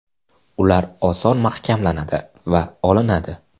Ular oson mahkamlanadi va olinadi.